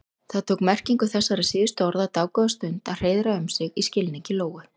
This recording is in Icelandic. Það tók merkingu þessara síðustu orða dágóða stund að hreiðra um sig í skilningi Lóu.